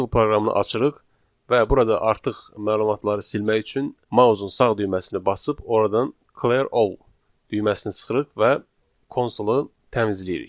Konsol proqramını açırıq və burada artıq məlumatları silmək üçün mausun sağ düyməsini basıb oradan clear all düyməsini sıxırıq və konsolu təmizləyirik.